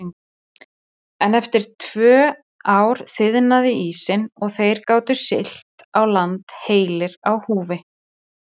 En eftir tvö ár þiðnaði ísinn og þeir gátu siglt í land heilir á húfi.